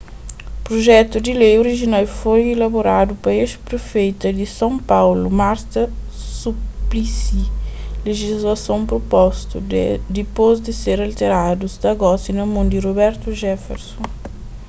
projetu di lei orijinal foi elaboradu pa ex-prefeita di son paulu marta suplicy lejislason propostu dipôs di ser alteradu sta gosi na mon di roberto jefferson